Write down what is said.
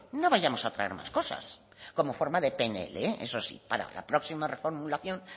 no vayamos a traer más cosas como forma de pnl eso sí para la próxima reformulación